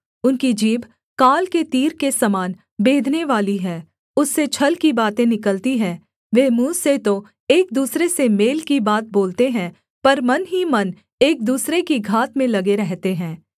उनकी जीभ काल के तीर के समान बेधनेवाली है उससे छल की बातें निकलती हैं वे मुँह से तो एक दूसरे से मेल की बात बोलते हैं पर मन ही मन एक दूसरे की घात में लगे रहते हैं